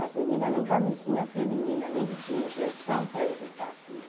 As meninas nem camisinha feminina, nem que tinha injeção para evitar a filha.